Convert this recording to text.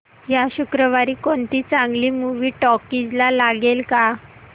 या शुक्रवारी कोणती चांगली मूवी टॉकीझ ला लागेल का